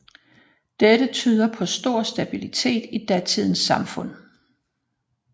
Dette tyder på stor stabilitet i datidens samfund